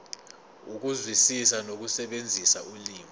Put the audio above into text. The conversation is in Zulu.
ukuzwisisa nokusebenzisa ulimi